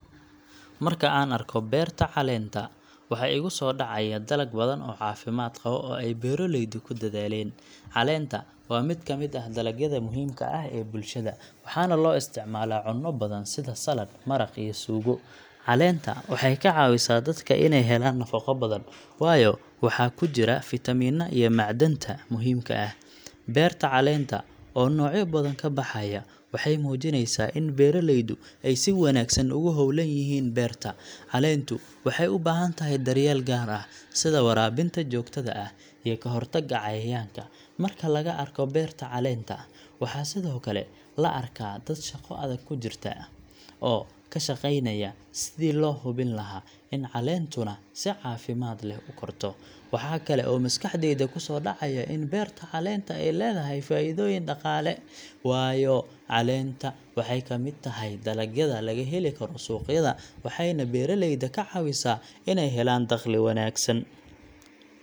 Marka aan arko beerta caleenta, waxa igu soo dhacaya dalag badan oo caafimaad qaba oo ay beeraleydu ku dadaaleen. Caleenta waa mid ka mid ah dalagyada muhiimka ah ee bulshada, waxaana loo isticmaalaa cunno badan sida saladh, maraq, iyo suugo. Caleenta waxay ka caawisaa dadka inay helaan nafaqo badan, waayo waxaa ku jira fiitamiinnada iyo macdanta muhiimka ah. Beerta caleenta oo noocyo badan ka baxaya waxay muujineysaa in beeraleydu ay si wanaagsan ugu hawlan yihiin beerta. Caleentu waxay u baahan tahay daryeel gaar ah, sida waraabinta joogtada ah iyo ka hortagga cayayaanka. Marka laga arko beerta caleenta, waxaa sidoo kale la arkaa dad shaqo adag ku jirta, oo ka shaqeynaya sidii loo hubin lahaa in caleentuna si caafimaad leh u korto. Waxa kale oo maskaxdayda ku soo dhacaya in beerta caleenta ay leedahay faa'iidooyin dhaqaale, waayo caleenta waxay ka mid tahay dalagyada laga heli karo suuqyada, waxayna beeraleyda ka caawisaa inay helaan dakhli wanaagsan.